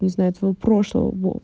не знаю твоего прошлого вот